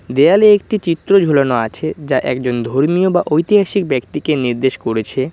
দেয়ালে একটি চিত্র ঝোলানো আছে যা একজন ধর্মীয় বা ঐতিহাসিক ব্যক্তিকে নির্দেশ করেছে।